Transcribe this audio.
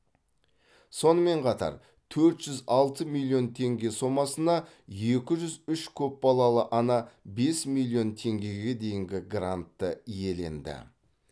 сонымен қатар төрт жүз алты миллион теңге сомасына екі жүз үш көпбалалы ана бес миллион теңгеге дейінгі грантты иеленді